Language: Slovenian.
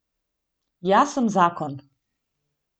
Jaz sem zakon.